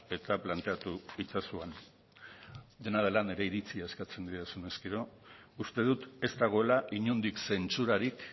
eta planteatu itzazu han dena dela nire iritzia eskatzen didazunez gero uste dut ez dagoela inondik zentsurarik